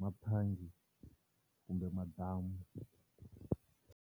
mathangi kumbe madamu.